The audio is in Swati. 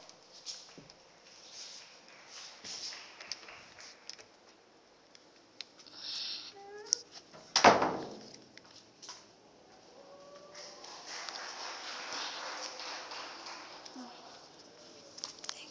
zandile